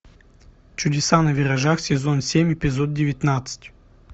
чудеса на виражах сезон семь эпизод девятнадцать